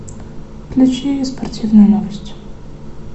включи спортивные новости